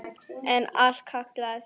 En allt kostar þetta nokkuð.